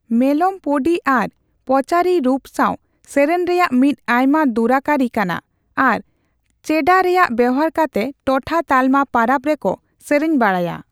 ᱢᱮᱞᱚᱢ ᱯᱚᱸᱰᱤ ᱟᱨ ᱯᱚᱸᱪᱟᱨᱤ ᱨᱩᱯ ᱥᱟᱣ ᱥᱮᱨᱮᱧ ᱨᱮᱭᱟᱜ ᱢᱤᱫ ᱟᱭᱢᱟ ᱫᱩᱨᱟᱹᱝ ᱠᱟᱹᱨᱤ ᱠᱟᱱᱟ ᱟᱨ ᱪᱮᱸᱰᱟ ᱨᱮᱭᱟᱜ ᱵᱮᱵᱚᱦᱟᱨ ᱠᱟᱛᱮ ᱴᱚᱴᱷᱟᱼᱛᱟᱞᱢᱟ ᱯᱟᱨᱟᱵ ᱨᱮᱠᱚ ᱥᱮᱨᱮᱧ ᱵᱟᱰᱟᱭᱟ ᱾